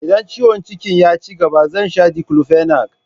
Idan ciwon jikin ya cigaba zai sha Diclofenac.